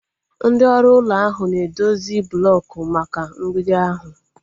Ndị ọrụ ụlọ ahụ na edozi blooku maka mgbidi ahu